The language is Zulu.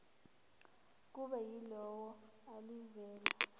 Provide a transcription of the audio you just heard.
kube yilona elivela